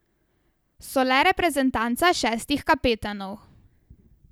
So le reprezentanca šestih kapetanov.